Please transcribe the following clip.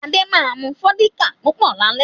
Adé ma mu Fọ́díkà púpọ̀ lálẹ́